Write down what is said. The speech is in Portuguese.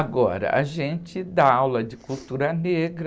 Agora, a gente dá aula de cultura negra